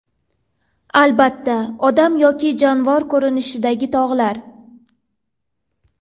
Albatta odam yoki jonivor ko‘rinishidagi tog‘lar.